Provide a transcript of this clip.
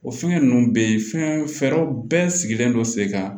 O fɛngɛ ninnu bɛ yen fɛn fɛɛrɛw bɛɛ sigilen don sen kan